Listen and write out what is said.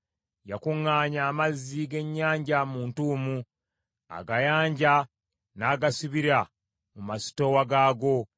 Yakuŋŋaanya amazzi g’ennyanja mu ntuumu, agayanja n’agasibira mu masitoowa gaago.